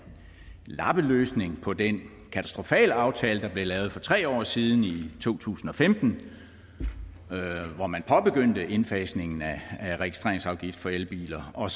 lappeløsning på den katastrofale aftale der blev lavet for tre år siden i to tusind og femten hvor man påbegyndte indfasningen af registreringsafgift for elbiler og